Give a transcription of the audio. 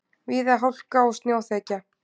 Víða hálka og snjóþekja